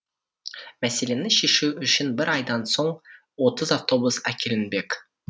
мәселені шешу үшін бір айдан соң отыз автобус әкелінбек